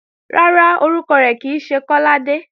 Rárá, orúkọ rẹ̀ kì í ṣe Kọ́ládé